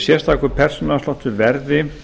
sérstakur persónuafsláttur verði